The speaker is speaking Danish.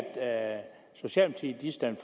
venstre